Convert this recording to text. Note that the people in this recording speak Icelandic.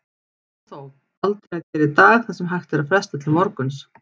Og þó, aldrei að gera í dag það sem hægt er að fresta til morguns.